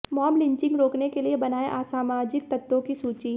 mob lynching रोकने के लिए बनाएं असामाजिक तत्वों की सूची